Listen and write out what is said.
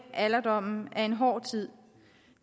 alderdommen er en hård tid